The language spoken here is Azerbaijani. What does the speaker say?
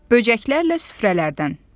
"Böcəklərlə süfrələrdən."